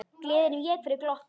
Gleðin vék fyrir glotti.